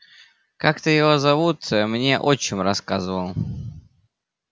как-то его зовут мне отчим рассказывал